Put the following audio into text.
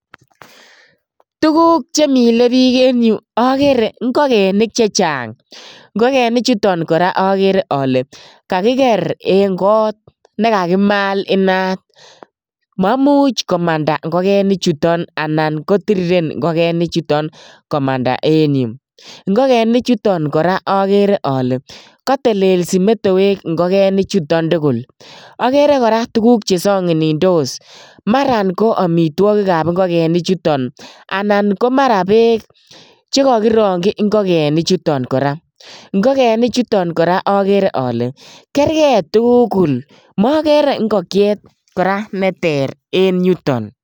Tuguuk chemile biik en yu ogere ingogenik chechang, ingogenik chuton kora ogere ole kakiger en got nekakimaal inaat. Maimuch komanda ingogenichu anan kotirirensoo komanda en yuh .Ingogenichuton kora ogere ale kotelelsii metoek ingogenichuton tugul. ogere kora tuguk Che songinindos, maran ko amitwogik ab ingikenichuton .Anan ko maran beek, chekokirongyii ingokenik chuton kora, ingokenik chuton kora agere ale kergei tugul mogere ingokyeet neter en yuton